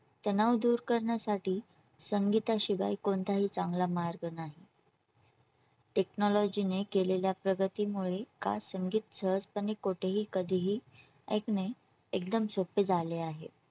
तणाव दूर करण्यासाठी संगीता शिवाय कोणताही चांगला मार्ग नाही technology ने केलेल्या प्रगतीमुळे का संगीत सहजपणे कुठे ही कधीही ऐकणे एकदम सोपे झाले आहे.